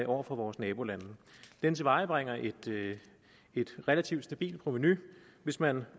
over for vores nabolande den tilvejebringer et relativt stabilt provenu hvis man